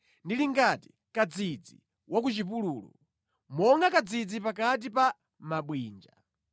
Ndili ngati kadzidzi wa ku chipululu, monga kadzidzi pakati pa mabwinja.